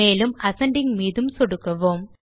மேலும் அசெண்டிங் மீதும் சொடுக்குவோம்